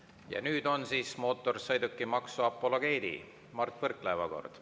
Ja nüüd on siis mootorsõidukimaksu apologeedi Mart Võrklaeva kord.